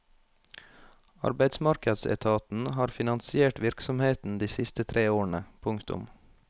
Arbeidsmarkedsetaten har finansiert virksomheten de siste tre årene. punktum